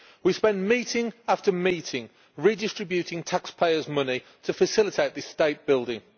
We spend meeting after meeting redistributing taxpayers' money to facilitate this state building.